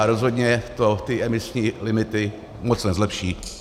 A rozhodně to ty emisní limity moc nezlepší.